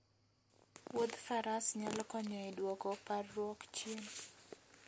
Wuodh faras nyalo konyo e duoko parruok chien.